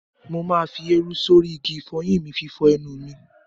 Mo ma fi érú sórí igi ìfọyín fi fọ ẹnu mi.